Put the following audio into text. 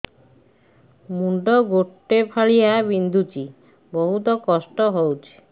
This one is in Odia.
ମୁଣ୍ଡ ଗୋଟେ ଫାଳିଆ ବିନ୍ଧୁଚି ବହୁତ କଷ୍ଟ ହଉଚି